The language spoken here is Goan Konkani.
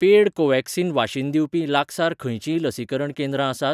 पेड कोव्हॅक्सिन वाशीन दिवपी लागसार खंयचींय लसीकरण केंद्रां आसात?